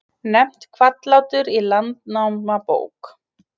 Nefnt Hvallátur í Landnámabók.